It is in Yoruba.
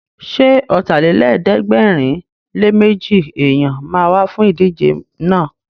Ṣé Ọ̀tàlélẹ̀ẹ́dẹ́gbẹ̀rinléméjì èèyàn ma wá fún ìdíje náà?